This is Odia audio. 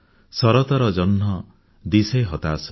ଶରତର ଜହ୍ନ ଦିଶେ ହତାଶ